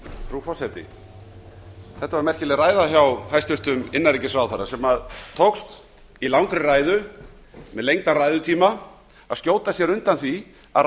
frú forseti þetta var merkilega ræða hjá hæstvirtum innanríkisráðherra sem tókst í langri ræðu með lengdan ræðutíma að skjóta sér undan því að